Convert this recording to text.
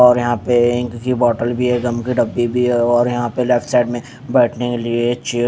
और यहाँ पर इंक की बोतल भी है गम की डब्बी भी है और यहाँ साइड में बैठने के लिए चेयर --